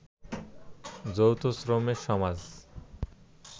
যৌথ শ্রমের সমাজ